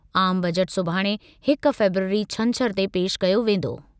आम बजट सुभाणे हिक फ़रवरी छंछर ते पेश कयो वेंदो।